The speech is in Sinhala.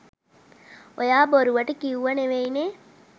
ඔයා බොරුවට කිව්ව නෙමේනේ